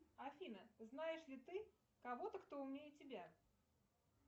афина знаешь ли ты кого то кто умнее тебя